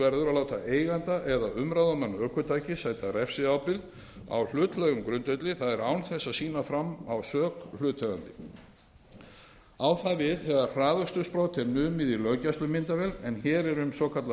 að láta eiganda eða umráðamann ökutækis sæta refsiábyrgð á hlutlægum grundvelli það er án þess að sýnt sé fram á sök hlutaðeigandi á það við þegar hraðakstursbrot er numið í löggæslumyndavél en hér er um svokallaða